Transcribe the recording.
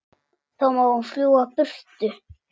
Þá má hún fljúga burtu.